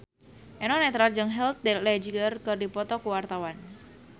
Eno Netral jeung Heath Ledger keur dipoto ku wartawan